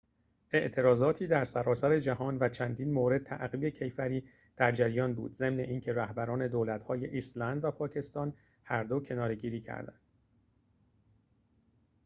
اعتراضاتی در سراسر جهان و چندین مورد تعقیب کیفری در جریان بود ضمن اینکه رهبران دولت‌های ایسلند و پاکستان هردو کناره‌گیری کردند